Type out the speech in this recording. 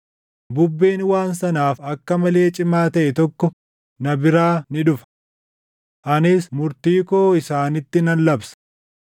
bubbeen waan sanaaf akka malee cimaa taʼe tokko na biraa ni dhufa. Anis murtii koo isaanitti nan labsa.”